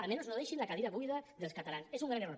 almenys no deixin la cadira buida dels catalans és un gran error